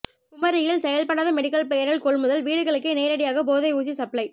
குமரியில் செயல்படாத மெடிக்கல் பெயரில் கொள்முதல் வீடுகளுக்கே நேரடியாக போதை ஊசி சப்ளை